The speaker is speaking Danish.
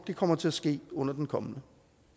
det kommer til at ske under den kommende